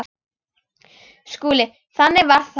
SKÚLI: Þannig var hann.